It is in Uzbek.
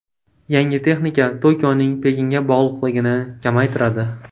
Yangi texnika Tokioning Pekinga bog‘liqligini kamaytiradi.